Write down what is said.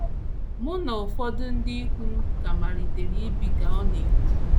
“ Mụ na ụfọdụ ndị ikwu m ka malitere ibi, ” ka ọ na - ekwu.